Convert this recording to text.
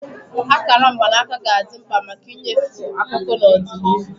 Akara mgbanaka ga-adị mkpa maka ịnyefe akụkụ na ọdịnihu.